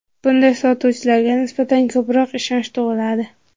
Bunday sotuvchilarga nisbatan ko‘proq ishonch tug‘iladi.